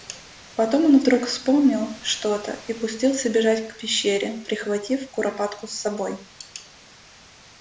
потом он вдруг вспомнил что то и пустился бежать к пещере прихватив куропатку с собой